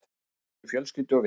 SAMSKIPTI VIÐ FJÖLSKYLDU OG VINI